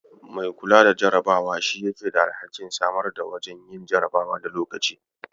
Mai kula da jarabawa shi yake da alhakin samar da wajajen yin jarabawa da lokaci.